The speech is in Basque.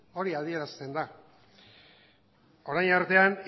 hori adierazten da orain artean